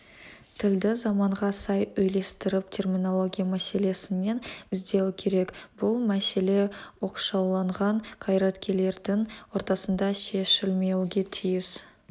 тілді заманға сай үйлестіріп терминология мәселесінен іздеу керек бұл мәселе оқшауланған қайраткерлердің ортасында шешілмеуге тиіс